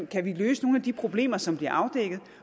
kan løse nogle af de problemer som bliver afdækket